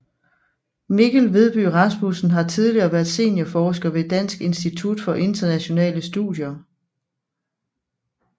Mikkel Vedby Rasmussen har tidligere været seniorforsker ved Dansk Institut for Internationale Studier